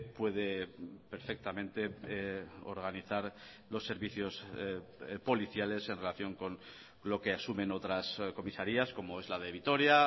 puede perfectamente organizar los servicios policiales en relación con lo que asumen otras comisarías como es la de vitoria